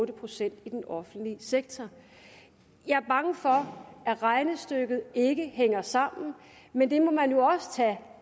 procent i den offentlige sektor jeg er bange for at regnestykket ikke hænger sammen men det må man jo også tage